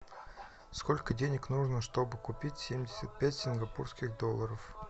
сколько денег нужно чтобы купить семьдесят пять сингапурских долларов